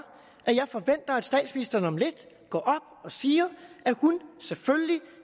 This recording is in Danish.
at jeg forventer at statsministeren om lidt går op og siger at hun selvfølgelig